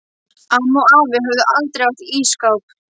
Amma og afi höfðu aldrei átt ísskáp.